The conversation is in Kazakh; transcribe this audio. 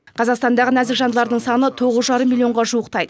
қазақстандағы нәзік жандылардың саны тоғыз жарым миллионға жуықтайды